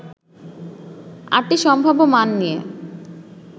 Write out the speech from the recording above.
৮টি সম্ভাব্য মান নিয়ে